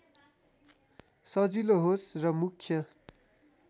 सजिलो होस् र मुख्य